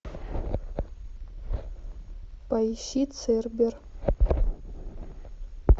поищи цербер